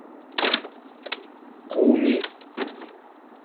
куми